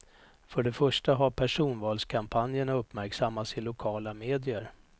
För det första har personvalskampanjerna uppmärksammats i lokala medier.